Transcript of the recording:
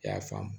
I y'a faamu